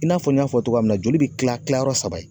I n'a fɔ n y'a fɔ togoya min na joli bi kila kilayɔrɔ saba ye